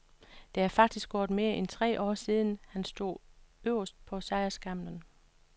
Der er faktisk gået mere end tre år siden, han sidst stod øverst på sejrsskamlen.